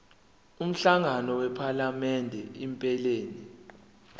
umhlangano wephalamende iphelele